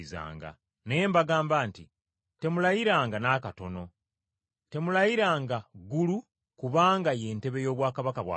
Naye mbagamba nti: Temulayiranga n’akatono! Temulayiranga ggulu, kubanga ye ntebe y’obwakabaka bwa Katonda.